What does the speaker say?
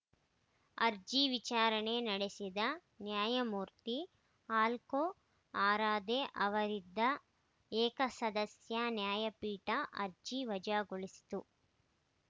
ಅರ್ಜಿ ವಿಚಾರಣೆ ನಡೆಸಿದ ನ್ಯಾಯಮೂರ್ತಿ ಆಲೋಕ್‌ ಆರಾಧೆ ಅವರಿದ್ದ ಏಕಸದಸ್ಯ ನ್ಯಾಯಪೀಠ ಅರ್ಜಿ ವಜಾಗೊಳಿಸಿತು